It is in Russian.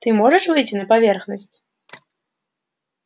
ты можешь выйти на поверхность